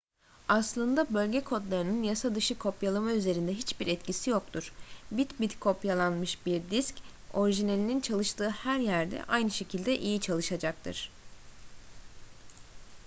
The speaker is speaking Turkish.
aslında bölge kodlarının yasadışı kopyalama üzerinde hiçbir etkisi yoktur bit bit kopyalanmış bir disk orijinalinin çalıştığı her yerde aynı şekilde iyi çalışacaktır